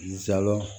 Zalo